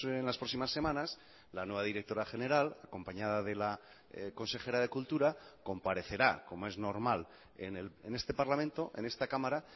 en las próximas semanas la nueva directora general acompañada de la consejera de cultura comparecerá como es normal en este parlamento en esta cámara